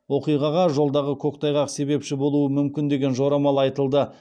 оқиғаға жолдағы көктайғақ себепші болуы мүмкін деген жорамал айтылды